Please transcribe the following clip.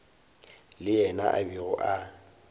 le yena a bego a